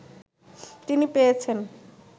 তিনি পেয়েছেন